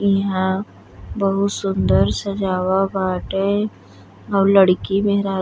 यहाँ बहुत सुंदर सजावा बाटे। लड़की मेहरारू --